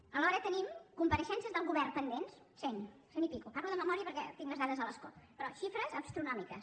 alhora tenim compareixences del govern pendents cent cent i escaig parlo de memòria perquè tinc les dades a l’escó però xifres astronòmiques